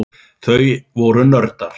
Þau voru nördar.